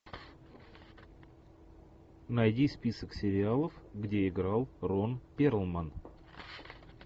найди список сериалов где играл рон перлман